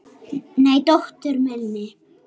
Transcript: Nei, dóttur minni.